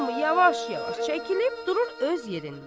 Hamı yavaş-yavaş çəkilib durur öz yerində.